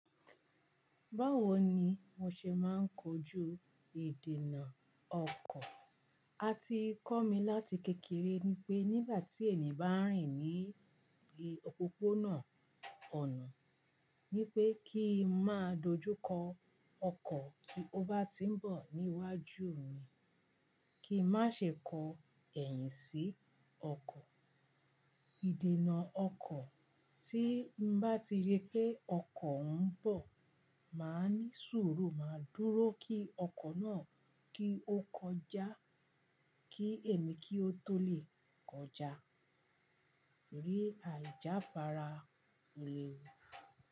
Báwo ni mo ṣe máa ń kojú ìdènà ọkọ̀? A ti kọ́ mi láti kékeré ni pé nígbà tí ènìyàn bá ń rìn ní òpópónà ọ̀nà, ni pé kí n máa dojú kọ ọkọ̀ ti ó bá ti ń bọ̀ níwájú mi. Kí n má ṣe kó ẹ̀yìn sí ọkọ̀. Ìdènà ọkọ̀, tí n bá ti rí pé ọkọ̀ ń bọ̀, màá ní sùúrù máa dúró kí ọkọ̀ náà kí ó kọjá kí èmi kí ó tó lè kọjá. Ní àjàfara ni.